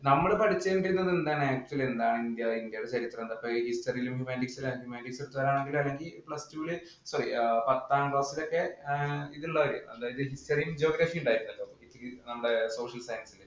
നമ്മൾ പഠിച്ചുകൊണ്ടിരുന്നത് എന്താണ്? ഇന്ത്യയുടെ ചരിത്രം പത്താം class ലൊക്കെ history യും, geography യും ഉണ്ടായിരുന്നല്ലോ. നമ്മുടെ social science ഇല്‍